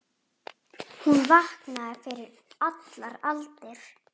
Hún vaknaði fyrir allar aldir.